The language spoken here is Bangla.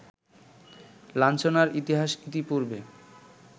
লাঞ্ছনার ইতিহাস ইতিপূর্বে